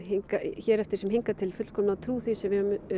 hér eftir sem hingað til fullkomlega trú því sem við höfum